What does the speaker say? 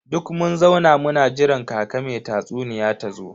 Duk mun zauna muna jiran kaka me tatsuniya tazo.